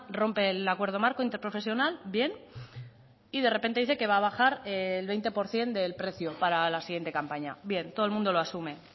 rompe el acuerdo marco interprofesional bien y de repente dice que va a bajar el veinte por ciento del precio para la siguiente campaña bien todo el mundo lo asume